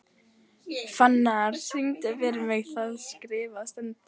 Fannar, syngdu fyrir mig „Það skrifað stendur“.